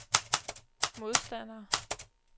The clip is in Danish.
modstandere